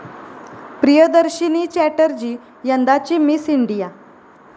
प्रियदर्शिनी चॅटर्जी यंदाची Miss India